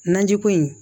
Naji ko in